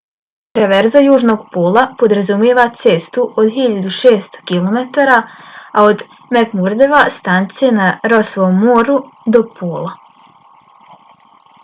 traverza južnog pola podrazumijeva cestu od 1600 km od mcmurdove stanice na rossovom moru do pola